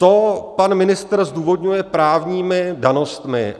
To pan ministr zdůvodňuje právními danostmi.